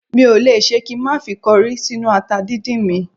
Mi ò le ṣe kí n má fi kọrí sínú ata dídín mi